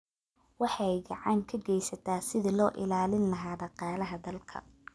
waxay gacan ka geysataa sidii loo ilaalin lahaa dhaqaalaha dalka.